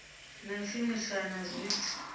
na u shumiswa na zwithu